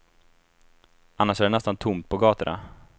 Annars är det nästan tomt på gatorna.